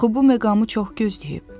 Axı bu məqamı çox gözləyib.